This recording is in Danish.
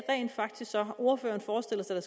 rent faktisk ordføreren forestiller sig at